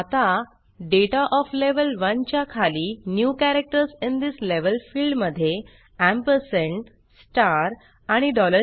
आता data of level 1 च्या खाली new characters in this level field मध्ये एम्परसँड स्टार आणि डॉलर